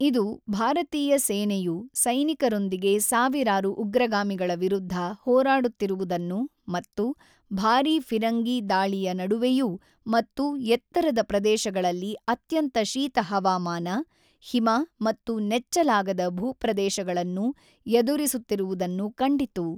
ಇದು ಭಾರತೀಯ ಸೇನೆಯು ಸೈನಿಕರೊಂದಿಗೆ ಸಾವಿರಾರು ಉಗ್ರಗಾಮಿಗಳ ವಿರುದ್ಧ ಹೋರಾಡುತ್ತಿರುವುದನ್ನು ಮತ್ತು ಭಾರೀ ಫಿರಂಗಿ ದಾಳಿಯ ನಡುವೆಯೂ ಮತ್ತು ಎತ್ತರದ ಪ್ರದೇಶಗಳಲ್ಲಿ ಅತ್ಯಂತ ಶೀತ ಹವಾಮಾನ, ಹಿಮ ಮತ್ತು ನೆಚ್ಚಲಾಗದ ಭೂಪ್ರದೇಶಗಳನ್ನು ಎದುರಿಸುತ್ತಿರುವುದನ್ನು ಕಂಡಿತು.